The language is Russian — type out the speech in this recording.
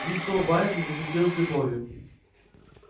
лицо байерли засветилось любовью